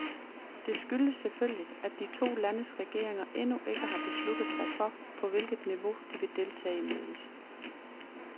Det skyldes selvfølgelig, at de to landes regeringer endnu ikke har besluttet sig for, på hvilket niveau de vil deltage i mødet.